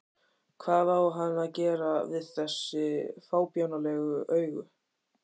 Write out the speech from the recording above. Hvað á hann að gera við þessi fábjánalegu augu?